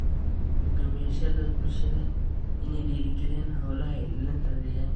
Hoggaamiyeyaasha bulshada waa inay dhiirrigeliyaan hawlaha ilaalinta deegaanka.